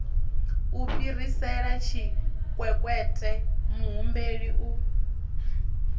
u fhirisela tshikwekwete muhumbeli u